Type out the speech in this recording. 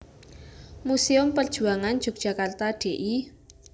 Muséum Perjuangan Yogyakarta Dl